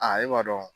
Aa e b'a dɔn